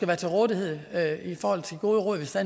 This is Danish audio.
være til rådighed i forhold til gode råd hvis der